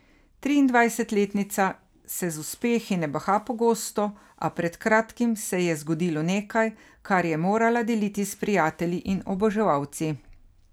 Triindvajsetletnica se z uspehi ne baha pogosto, a pred kratkim se ji je zgodilo nekaj, kar je morala deliti s prijatelji in oboževalci.